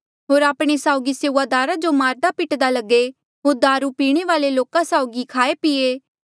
होर आपणे साउगी सेऊआदारा जो मारदा पिट्दा लगे होर दारु पीणे वाल्ऐ लोका साउगी खाए पीए